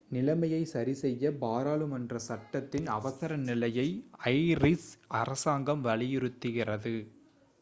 நிலைமையைச் சரிசெய்ய பாராளுமன்ற சட்டத்தின் அவசர நிலையை ஐரிஷ் அரசாங்கம் வலியுறுத்துகிறது